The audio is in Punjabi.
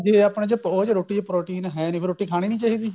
ਜੇ ਆਪਣੇ ਚ ਉਹ ਚ ਰੋਟੀ ਚ protein ਹੈ ਨੀ ਫੇਰ ਰੋਟੀ ਖਾਣੀ ਨਹੀਂ ਚਾਹੀਦੀ